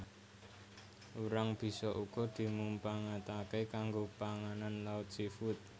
Urang bisa uga dimumpangataké kanggo panganan laut seafood